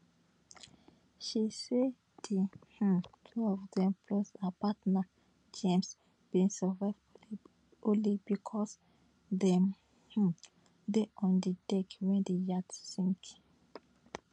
she say di um two of dem plus her partner james bin survive only becos dem um dey on di deck wen di yacht sink